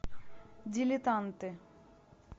дилетанты